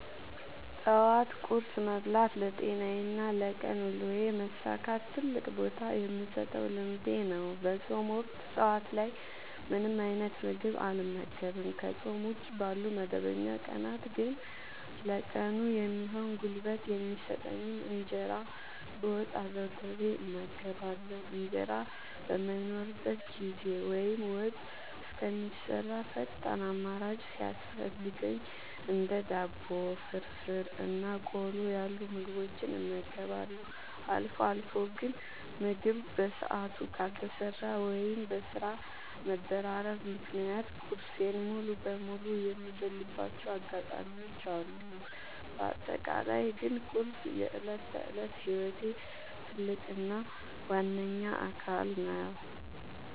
ጠዋት ቁርስ መብላት ለጤናዬና ለቀን ውሎዬ መሳካት ትልቅ ቦታ የምሰጠው ልምዴ ነው። በፆም ወቅት ጠዋት ላይ ምንም አይነት ምግብ አልመገብም። ከፆም ውጪ ባሉ መደበኛ ቀናት ግን ለቀኑ የሚሆን ጉልበት የሚሰጠኝን እንጀራ በወጥ አዘውትሬ እመገባለሁ። እንጀራ በማይኖርበት ጊዜ ወይም ወጥ እስከሚሰራ ፈጣን አማራጭ ሲያስፈልገኝ እንደ ዳቦ፣ ፍርፍር እና ቆሎ ያሉ ምግቦችን እመገባለሁ። አልፎ አልፎ ግን ምግብ በሰዓቱ ካልተሰራ ወይም በስራ መደራረብ ምክንያት ቁርሴን ሙሉ በሙሉ የምዘልባቸው አጋጣሚዎች አሉ። በአጠቃላይ ግን ቁርስ የዕለት ተዕለት ህይወቴ ትልቅ እና ዋነኛ አካል ነው።